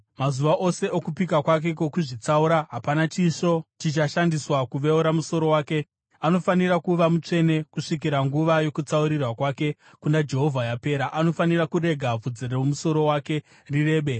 “ ‘Mazuva ose okupika kwake kwokuzvitsaura hapana chisvo chichashandiswa kuveura musoro wake. Anofanira kuva mutsvene kusvikira nguva yokutsaurirwa kwake kuna Jehovha yapera; anofanira kurega bvudzi romusoro wake rirebe.